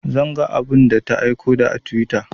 Zan ga abun da ta aiko a twitter